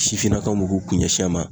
Sifinnakaw b'u k'u kun ɲɛ sin a ma